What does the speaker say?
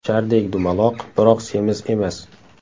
Shardek dumaloq, biroq semiz emas.